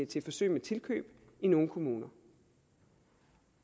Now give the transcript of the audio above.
til forsøg med tilkøb i nogle kommuner